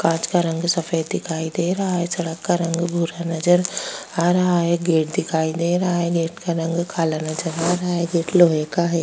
कांच का रंग सफेद दिखाई दे रहा है सड़क का रंग भूरा नजर आ रहा है गेट दिखाई दे रहा है गेट का रंग काला नजर आ रहा है गेट लोहे का है।